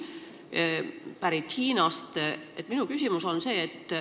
See on pärit Hiinast.